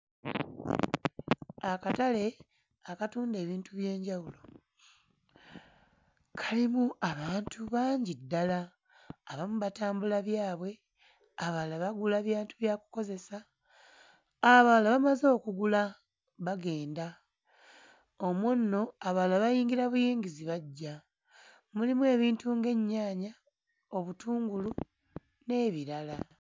Akatale akatunda ebintu by'enjawulo kalimu abantu bangi ddala. Abamu batambula byabwe, abalala bagula bintu bya kukozesa, abalala bamaze okugula bagenda. Omwo nno abalala bayingira buyingizi bajja. Mulimu ebintu ng'ennyaaya, obutungulu, n'ebirala.